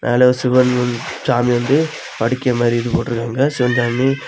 மேல சிவன் வந் சாமி வந்து படிக் மாதி ஏதோ போட்டிர்க்காங்க சிவன் சாமி.